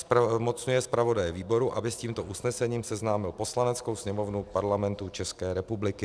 Zmocňuje zpravodaje výboru, aby s tímto usnesením seznámil Poslaneckou sněmovnu Parlamentu České republiky.